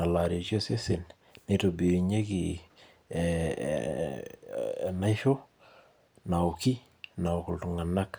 aitobir osesen. neitobirunyeki, enaisho naoki, naok iltunganak.